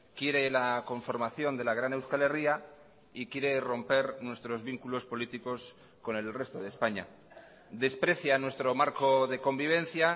quiere la conformación de la gran euskal herria y quiere romper nuestros vínculos políticos con el resto de españa desprecia nuestro marco de convivencia